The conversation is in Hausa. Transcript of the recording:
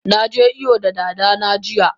Naje iyo da dana jiya.